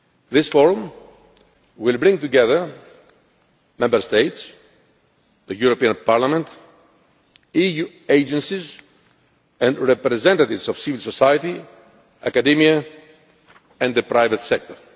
This forum will bring together Member States, the European Parliament, EU agencies and representatives of civil society, academia and the private sector.